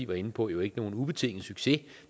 var inde på jo ikke nogen ubetinget succes